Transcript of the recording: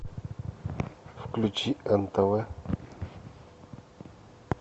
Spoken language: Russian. включи нтв